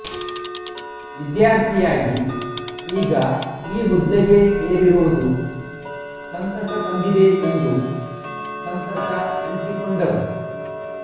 ವಿದ್ಯಾರ್ಥಿ ಯಾಗಿ ಈಗ ಈ ಹುದ್ದೆಗೆ ಏರಿರುವುದು ಸಂತಸ ತಂದಿದೆ ಎಂದು ಸಂತಸ ಹಂಚಿಕೊಂಡರು